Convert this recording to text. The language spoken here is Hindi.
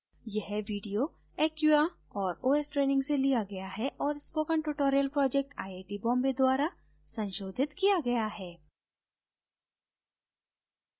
यह video acquia और os ट्रेनिंग से लिया गया है और spoken tutorial project IIT Bombay द्वारा संशोधित किया गया है